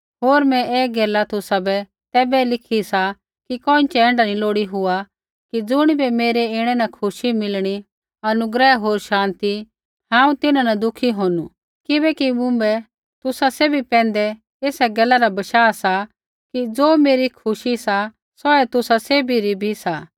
होर मैं ऐ गैला तुसाबै तैबै लिखी सा कि कोइँछ़ै ऐण्ढा नी लोड़ी हुआ कि ज़ुणिबै मेरै ऐणै न खुशी मिलणी हांऊँ तिन्हां न दुःखी होणु किबैकि मुँभै तुसा सैभी पैंधै ऐसा गैला रा बशाह सा कि ज़ो मेरी खुशी सा सौऐ तुसा सैभी री भी सा